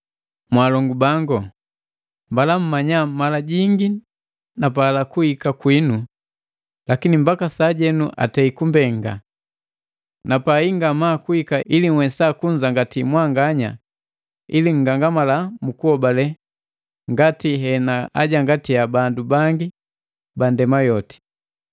Mwaalongu bangu, mbala mmanya mala jingi napala kuhika kwinu, lakini mbaka sajenu atei kumbenga. Napai ngamaa kuhika ili nhwesa kunzangati mwanganya ili nngangamala mukuhobale, ngati henaajangatia bandu bangi bandema yoti.